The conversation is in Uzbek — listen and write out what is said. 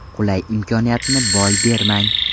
Qulay imkoniyatni boy bermang!